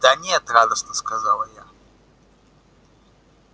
да нет радостно сказала я